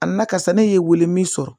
A na ka sa ne ye wele min sɔrɔ